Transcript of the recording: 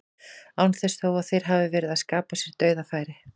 Án þess þó að þeir hafi verið að skapa sér dauðafæri.